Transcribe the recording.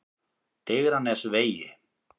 Digranesvegi